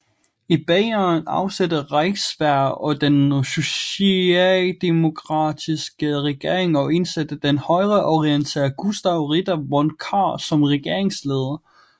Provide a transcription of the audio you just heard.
I Bayern afsatte Reichswehr den sociademokratiske regering og indsatte den højreorienterede Gustav Ritter von Kahr som regeringsleder